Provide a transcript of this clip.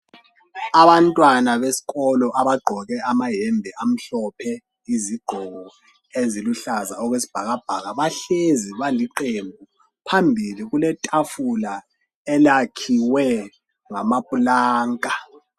Abantwana besikolo abagqoke amayembe amhlophe izigqoko eziluhlaza okwesibhakabhaka bahlezi baliqembu .Phambili kule tafula elakhiwe ngamapulanka .